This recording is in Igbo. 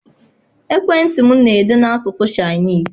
Ekwentị m na-ede n'asụsụ Chinese.